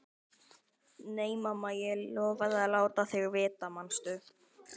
Nei, mamma, ég lofaði að láta þig vita, manstu?